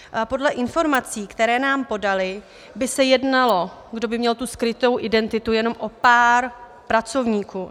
Podle informací, které nám podali, by se jednalo, kdo by měl tu skrytou identitu, jenom o pár pracovníků.